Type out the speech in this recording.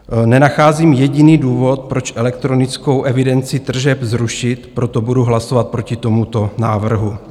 Nenacházím jediný důvod, proč elektronickou evidenci tržeb zrušit, proto budu hlasovat proti tomuto návrhu.